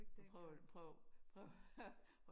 Prøv prøv prøv at